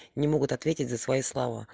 не могут ответить за свои слова